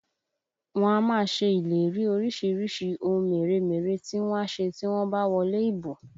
Wọ́n á máa ṣe ìlérí orísìírísìí ohun mèremère tí wọ́n á ṣe tí wọ́n bá wọlé ìbò